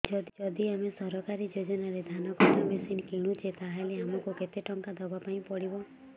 ଯଦି ଆମେ ସରକାରୀ ଯୋଜନାରେ ଧାନ କଟା ମେସିନ୍ କିଣୁଛେ ତାହାଲେ ଆମକୁ କେତେ ଟଙ୍କା ଦବାପାଇଁ ପଡିବ